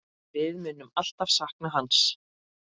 Við munum alltaf sakna hans.